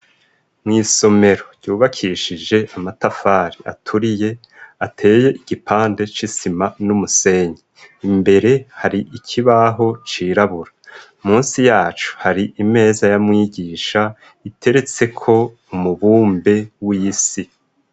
Mwisomero ryubakishije amatafari aturiye ateye igipande cisima n'umusenyi imbere hari ikibaho cirabura munsi yacu hari imeza ya mwigisha iteretseko umubumbe w'isi.